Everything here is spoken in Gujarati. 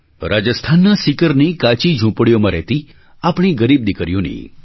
રાજસ્થાનના સીકરની કાચી ઝૂંપડીઓમાં રહેતી આપણી ગરીબ દીકરીઓની